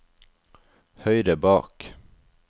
høyre bak